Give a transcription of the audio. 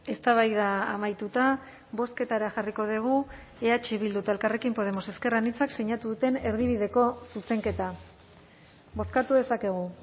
eztabaida amaituta bozketara jarriko dugu eh bildu eta elkarrekin podemos ezker anitzak sinatu duten erdibideko zuzenketa bozkatu dezakegu